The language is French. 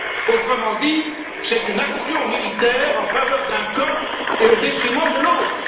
Autrement dit, c'est une action militaire en faveur d'un camp et au détriment de l'autre!